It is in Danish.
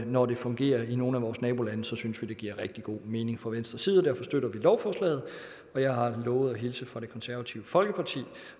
når det fungerer i nogle af vores nabolande synes vi det giver rigtig god mening fra venstres side og derfor støtter vi lovforslaget jeg har lovet at hilse fra det konservative folkeparti